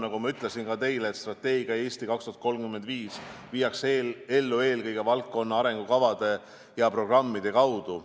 Nagu ma ütlesin, strateegia "Eesti 2035" viiakse ellu eelkõige valdkonna arengukavade ja programmide kaudu.